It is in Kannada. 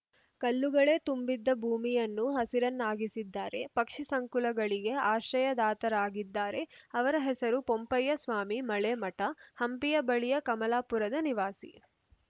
ಕಲ್ಲುಗಳೇ ತುಂಬಿದ್ದ ಭೂಮಿಯನ್ನು ಹಸಿರನ್ನಾಗಿಸಿದ್ದಾರೆ ಪಕ್ಷಿ ಸಂಕುಲಗಳಿಗೆ ಆಶ್ರಯದಾತರಾಗಿದ್ದಾರೆ ಅವರ ಹೆಸರು ಪೊಂಪಯ್ಯ ಸ್ವಾಮಿ ಮಳೆಮಠ ಹಂಪಿಯ ಬಳಿಯ ಕಮಲಾಪುರದ ನಿವಾಸಿ